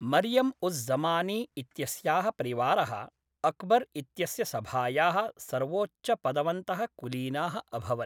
मरियम् उज़् ज़मानी इत्यस्याः परिवारः, अकबर् इत्यस्य सभायाः सर्वोच्चपदवन्तः कुलीनाः अभवन्।